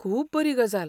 खूब बरी गजाल!